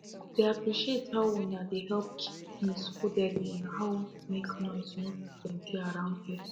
i dey appreciate how una dey help keep things codely and how make noise no too plenty around here